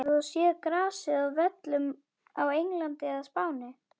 Hefur þú séð grasið á völlum á Englandi eða Spáni?